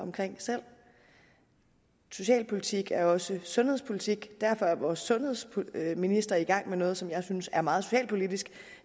selv socialpolitik er også sundhedspolitik derfor er vores sundhedsminister i gang med noget som jeg synes er meget socialpolitisk